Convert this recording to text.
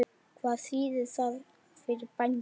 Hvað þýðir það fyrir bændur?